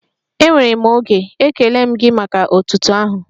Enwere m oge, ekele m gị maka otuto ahụ.